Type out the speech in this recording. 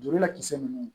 Joli lakisɛ ninnu